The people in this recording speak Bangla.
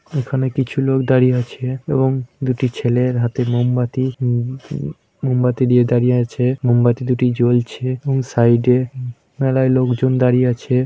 এখানে কিছু লোক দাঁড়িয়ে আছে এবং দুটি ছেলের হাতে মোমবাতি। উ উ মোমবাতি দিয়ে দাঁড়িয়ে আছে। মোমবাতি দুটি জ্বলছে এবং সাইড -এ উ মেলাই লোকজন দাঁড়িয়ে আছে।